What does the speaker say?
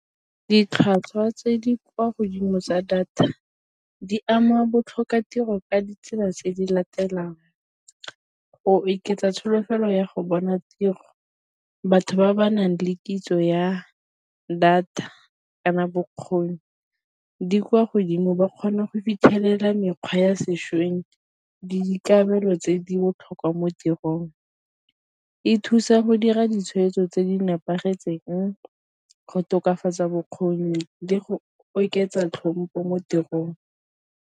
Ditlhwatlhwa tse di kwa godimo tsa data di ama botlhokatiro ka ditsela tse di latelang go oketsa tsholofelo ya go bona tiro, batho ba ba nang le kitso ya data kana bokgoni di kwa godimo ba kgona go fitlhelela mekgwa ya sešweng le dikabelo tse di botlhokwa mo tirong. E thusa go dira ditshweetso tse di nepagetseng, go tokafatsa bokgoni le go oketsa tlhompo mo tirong.